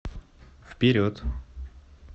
вперед